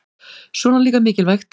Svona líka mikilvægt